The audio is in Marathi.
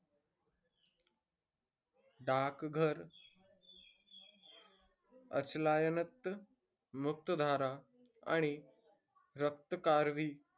डाकघर, मुक्तधारा, आणि रक्त करबी,